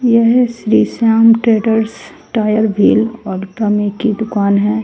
यह Shri Shyam traders tyre wheel और ट्रमें की दुकान है।